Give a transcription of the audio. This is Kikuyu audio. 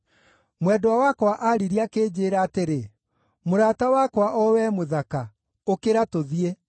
Mwendwa wakwa aaririe akĩnjĩĩra atĩrĩ, “Mũrata wakwa, o wee mũthaka, ũkĩra tũthiĩ.